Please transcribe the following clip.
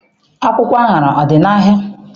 Akwụkwọ aṅara adị n'ahịa?